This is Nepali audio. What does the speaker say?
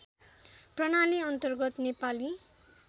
प्रणाली अन्तर्गत नेपाली